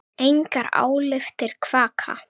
Engar álftir kvaka.